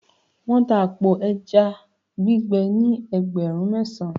wan ta apo eja gbigbe ni ẹgbẹrun mesan